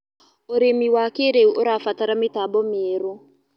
Ũrĩmĩ wa kĩĩrĩũ ũrabatara mĩtambo mĩerũ